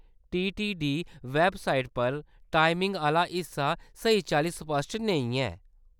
TTD website पर timing आह्‌ला हिस्सा स्हेई चाल्ली स्पश्ट नेईं ऐ।